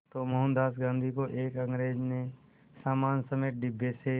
तो मोहनदास गांधी को एक अंग्रेज़ ने सामान समेत डिब्बे से